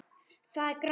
Það er grænt.